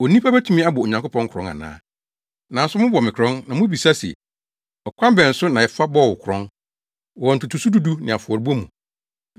“Onipa betumi abɔ Onyankopɔn korɔn ana? Nanso, mobɔ me korɔn! Na mubebisa se, ‘ɔkwan bɛn so na yɛfa bɔɔ wo korɔn?’ “Wɔ ntotoso du du ne afɔrebɔde mu.